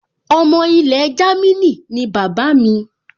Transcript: Ọmọ ilẹ̀ Jámínì ni bàbá mi